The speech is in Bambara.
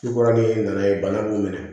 Su kɔrɔ ni nana ye bana b'u minɛ